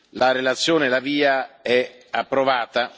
La relazione La Via è approvata.